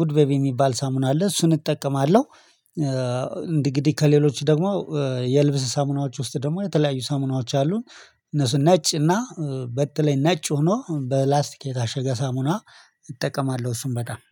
ጉድ ቤቢ የሚባል ሳሙና አለ እሱን እጠቀማለሁ። እንዲህ እንዲህ ከሌሎች ደግሞ የልብስ ሳሙናዎች ውስጥ ደግሞ የተለያዩ ሳሙናዎች አሉን። እነሱን ነጭ እና በተለይ ነጭ ሆኖ በላስቲክ የታሸገ ሳሙና እጠቀማለሁ። እሱን በጣም